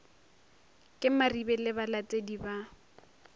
ke maribe le balatedi ba